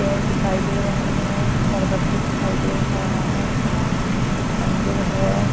पेड़ दिखाई दे रहे हैं पर्वत भी दिखाई दे रहा है मंदिर है।